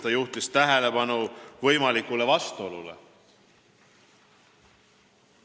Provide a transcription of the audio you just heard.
Ta juhtis tähelepanu võimalikule vastuolule.